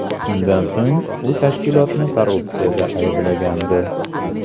Shundan so‘ng u tashkilotni korrupsiyada ayblagandi.